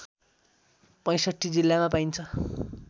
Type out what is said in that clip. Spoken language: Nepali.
६५ जिल्लामा पाइन्छ